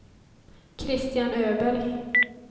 Kristian Öberg